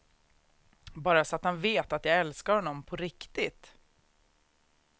Bara så att han vet att jag älskar honom, på riktigt.